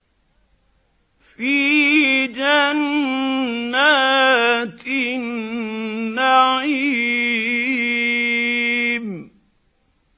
فِي جَنَّاتِ النَّعِيمِ